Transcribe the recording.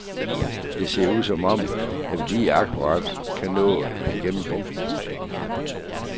Det ser ud som om, at vi lige akkurat kan nå igennem bunken.